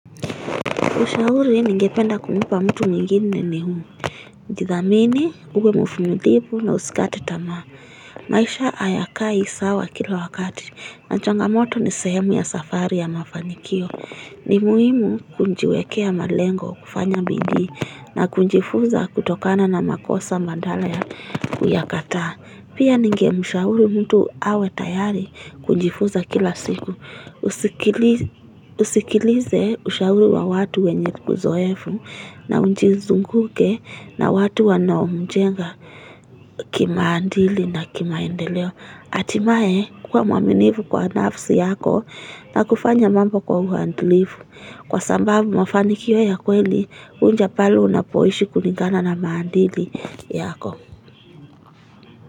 Ushauri ningependa kumpa mtu mwingine ni huu. Jithamini, uwe mvumilivu na usikate tama. Maisha ayakai sawa kila wakati. Na changamoto ni sehemu ya safari ya mafanikio. Ni muhimu kujiwekea malengo kufanya bidii na kujifunza kutokana na makosa badala ya kuyakataa Pia ningemshauri mtu awe tayari kujifunza kila siku, usikilize Usikilize ushauri wa watu wenye uzoefu na ujizunguke na watu wanao mjenga kimaadili na kimaendeleo hatimaye kuwa mwaminifu kwa nafsi yako na kufanya mambo kwa uadilifu Kwa sababu mafanikio ya kweli huja pale unapoishi kulingana na maadili yako.